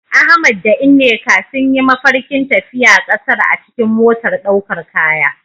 Ahmad da Nneka sun yi mafarkin tafiya kasar a cikin motar daukar kaya.